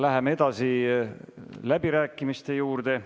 Läheme edasi läbirääkimiste juurde.